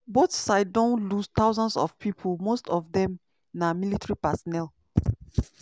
both sides don lose thousands of pipo most of dem na military personnel.